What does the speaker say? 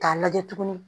K'a lajɛ tuguni